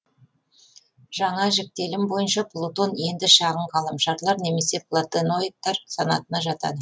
жаңа жіктелім бойынша плутон енді шағын ғаламшарлар немесе платеноидтар санатына жатады